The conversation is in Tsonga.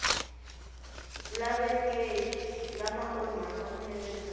lavekeki lama onhaka vunene bya